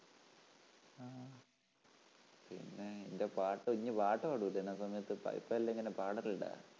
പിന്നേ നിൻ്റെ പാട്ട് ഇനി പാട്ടുംപാടുമോ ചില സമയത്തു് പഠിത്തമില്ലെങ്കിലുംപാടലുണ്ടോ?